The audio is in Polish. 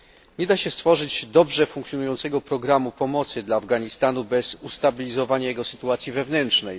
Nie da się stworzyć dobrze funkcjonującego programu pomocy dla Afganistanu bez ustabilizowania jego sytuacji wewnętrznej.